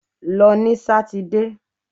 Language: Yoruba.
Lọ ní sátidé!